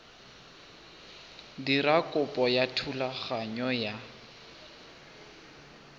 dira kopo ya thulaganyo ya